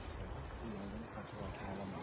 Bizim bələdiyyə qaçırtdı.